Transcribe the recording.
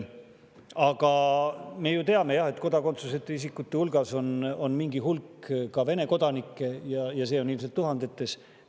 Aga me ju teame, et kodakondsuseta isikute hulgas on ka mingi hulk Vene kodanikke, neid on ilmselt tuhandetes.